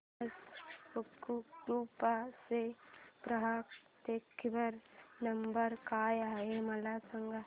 Thomas Cook group चा ग्राहक देखभाल नंबर काय आहे मला सांगा